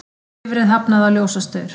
Bifreið hafnaði á ljósastaur